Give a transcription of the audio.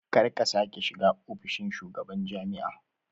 Karka sake shiga ofishin shugaban jami'a